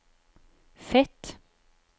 Fet